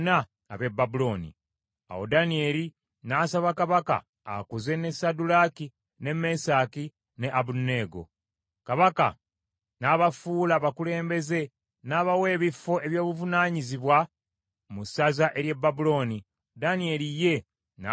Awo Danyeri n’asaba kabaka akuze ne Saddulaaki, ne Mesaki, ne Abeduneego; kabaka n’abafuula abakulembeze n’abawa ebifo eby’obuvunaanyizibwa mu ssaza ery’e Babulooni, Danyeri ye n’asigala awali kabaka.